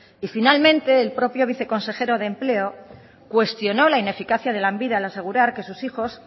y finalmente el propio viceconsejero de empleo cuestionó la ineficacia de lanbide al asegurar que sus hijos